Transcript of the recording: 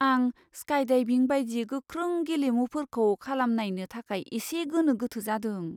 आं स्काइडाइभिं बायदि गोख्रों गेलेमुफोरखौ खालामनायनो थाखाय एसे गोनो गोथो जादों।